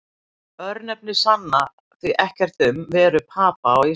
örnefni sanna því ekkert um veru papa á íslandi